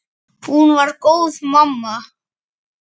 Hún var góð mamma.